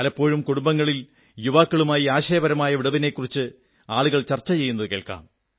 പലപ്പോഴും കുടുംബങ്ങളിൽ യുവാക്കുളുമായി ആശയപരമായ വിടവിനെക്കുറിച്ച് ആളുകൾ ചർച്ച ചെയ്യുന്നതു കേൾക്കാം